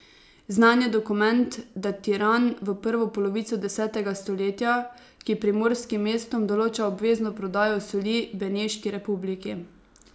Znan je dokument, datiran v prvo polovico desetega stoletja, ki primorskim mestom določa obvezno prodajo soli Beneški republiki.